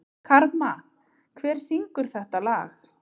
Karma, hver syngur þetta lag?